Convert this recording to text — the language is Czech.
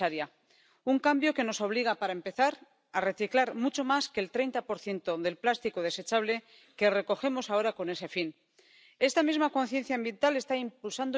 Radu. Jak se staví Rada k uvedeným otázkám a k možným opatřením, která navrhla Komise k řešení čtyř nejdůležitějších problémů?